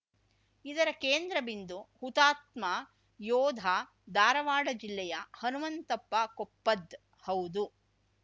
ಇದರ ಕೇಂದ್ರ ಬಿಂದು ಹುತಾತ್ಮ ಯೋಧ ಧಾರಾವಾಡ ಜಿಲ್ಲೆಯ ಹನುಮಂತಪ್ಪ ಕೊಪ್ಪದ್‌ ಹೌದು